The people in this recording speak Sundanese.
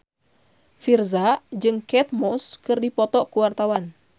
Virzha jeung Kate Moss keur dipoto ku wartawan